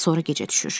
Sonra gecə düşür.